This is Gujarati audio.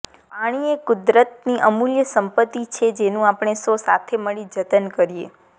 પાણી એ કુદરતની અમૂલ્ય સંપત્તિ છે જેનું આપણે સૌ સાથે મળી જતન કરીએ